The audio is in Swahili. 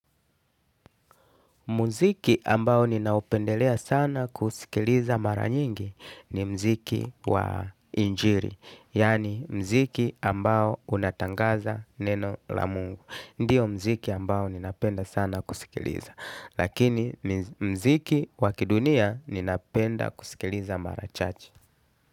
Muziki ambao ninaupendelea sana kuusikiliza mara nyingi ni muziki wa injili. Yaani muziki ambao unatangaza neno la mungu. Ndio muziki ambao ninapenda sana kusikiliza. Lakini muziki wa kidunia ninapenda kusikiliza mara chache.